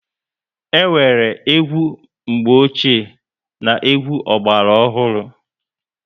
E nwere egwu mgbe ochie na egwu ogbara ohuru